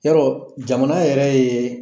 Yarɔɔ jamana yɛrɛ yee